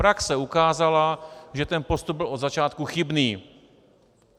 Praxe ukázala, že ten postup byl od začátku chybný.